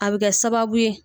A bɛ kɛ sababu ye.